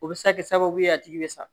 O bɛ se ka kɛ sababu ye a tigi bɛ sa